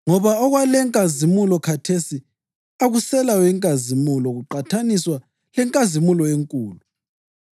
Ngoba okwakulenkazimulo khathesi akuselayo inkazimulo kuqathaniswa lenkazimulo enkulu.